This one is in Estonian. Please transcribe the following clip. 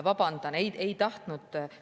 Vabandan, ei tahtnud …